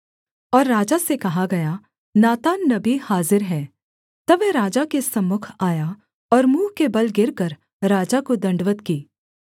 और राजा से कहा गया नातान नबी हाजिर है तब वह राजा के सम्मुख आया और मुँह के बल गिरकर राजा को दण्डवत् की